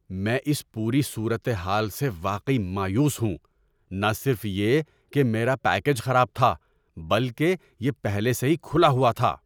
میں اس پوری صورت حال سے واقعی مایوس ہوں۔ نہ صرف یہ کہ میرا پیکیج خراب تھا بلکہ یہ پہلے سے ہی کھلا ہوا تھا!